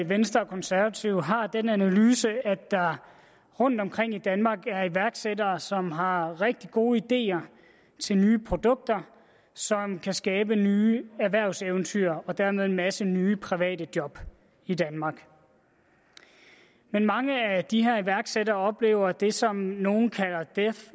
venstre og konservative den analyse at der rundtomkring i danmark er iværksættere som har rigtig gode ideer til nye produkter som kan skabe nye erhvervseventyr og dermed en masse nye private job i danmark men mange af de her iværksættere oplever det som nogle kalder death